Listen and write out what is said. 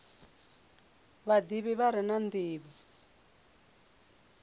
vhadivhi vha re na ndivho